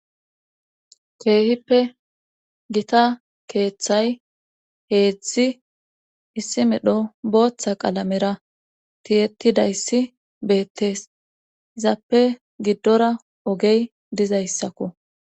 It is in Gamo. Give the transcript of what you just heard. keehippe gita keeththay heedzdzi issi medho booththa qalamera tiyetidayssi beettees izappe giddora ogey dizayssakko